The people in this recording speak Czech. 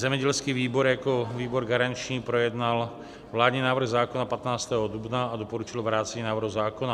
Zemědělský výbor jako výbor garanční projednal vládní návrh zákona 15. dubna a doporučil vrácení návrhu zákona.